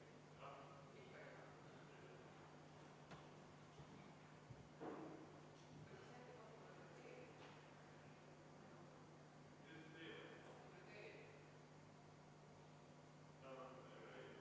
Sain märkuse, et varase hommiku jaoks liiga tugevalt.